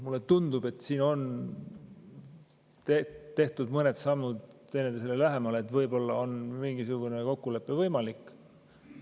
Mulle tundub, et siin on tehtud mõned sammud teineteisele lähemale ja võib-olla on mingisugune kokkulepe võimalik.